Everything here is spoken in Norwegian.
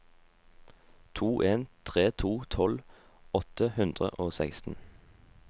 to en tre to tolv åtte hundre og seksten